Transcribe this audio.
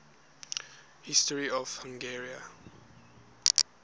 history of hungary